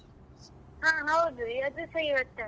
ಹಾ ಹೌದು ಇವರ್ದುಸ ಇವತ್ತೇ ಅಂತೆ.